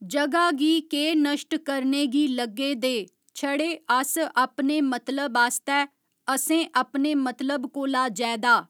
जगह गी के नश्ट करने गी लग्गे दे छड़े अस अपने मतलब आस्तै असें अपने मतलब कोला जैदा